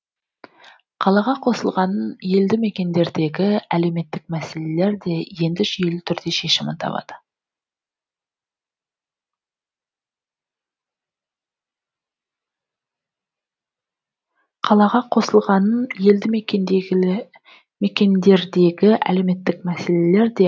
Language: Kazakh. қалаға қосылғанын елді мекендердегі әлеуметтік мәселелер де енді жүйелі түрде шешімін табады